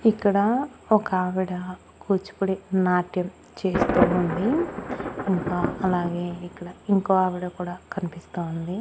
ఇక్కడ ఒకావిడ కూచిపూడి నాట్యం చేస్తూ ఉంది ఇంకా అలాగే ఇక్కడ ఇంకో ఆవిడ కూడా కన్పిస్తా ఉంది.